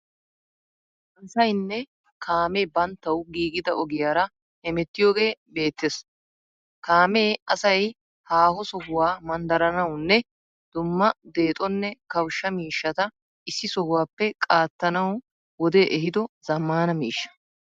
Asaynne kaame banttawu giigida ogiyaara hemettiyagee beettees. Kaame asay haaho sohuwa manddaranawunne dumma deexonne kawushsha miishshata issi sohuwappe qaattanawu wodee ehiido zammaana miishsha.